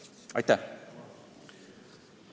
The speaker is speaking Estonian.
Aitäh!